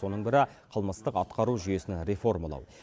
соның бірі қылмыстық атқару жүйесін реформалау